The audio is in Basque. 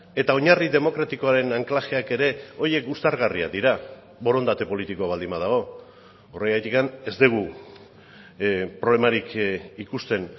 eta oinarri demokratikoaren anklajeak ere horiek uztargarriak dira borondate politikoa baldin badago horregatik ez dugu problemarik ikusten